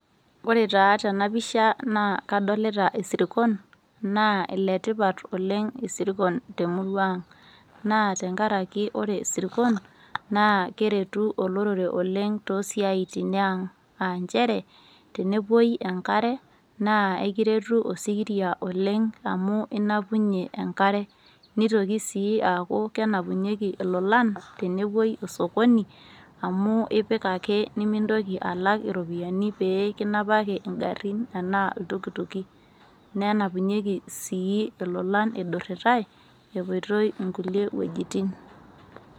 Ore taa tena pisha kadolita isirkon naa iletipat oleng' isirkon temurua ang' naa tenkaraki ore isirkon naa keretu olorere oleng toosiaitin e ang' aa nchere tenepuoi enkare naa akiretu osikiria oleng' amu inapunyie enkare nitoki sii aaku kenapunyieki ilolan tenepuoi osokoni amu ipik ake nemintoki alak iropiyiani pee kinapaki ingarrin enaa iltukutuki, nenapunyieki sii ilolan idurrirai epoitoi innkulie wuejitin.